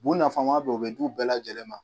Bu nafama bɛ ye u bɛ di u bɛɛ lajɛlen ma.